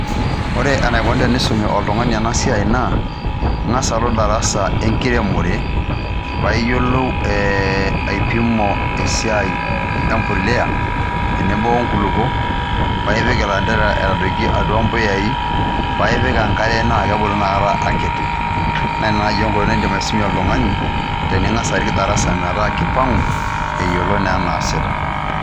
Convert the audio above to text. Ore enaukoni teneisomi ena siaai naa ingas alo ildarasa le inkiremore paa iyelou aipimu esiaai embolea tenebo onkulupo ppa ipik tendera aitadoki atua impuyai paa ipik enkaina aa kebulu inakata akiti, naa naijo indim aisumie oltungani tiningas arik ldarsa metaa keipang'u eyolo naa neasita.